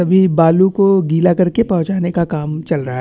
सभी बालू को गिला करके पोहचाने का काम चल रहा है।